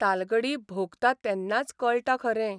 तालगडी भोगता तेन्नाच कळटा खरें